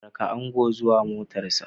Raka ango zuwa motarsa